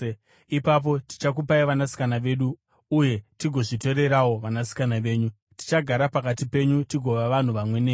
Ipapo tichakupai vanasikana vedu uye tigozvitorerawo vanasikana venyu. Tichagara pakati penyu tigova vanhu vamwe nemi.